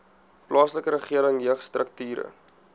plaaslike regering jeugstrukture